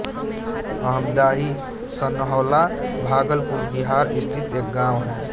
अमदाही सनहौला भागलपुर बिहार स्थित एक गाँव है